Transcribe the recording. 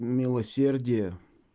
милосердие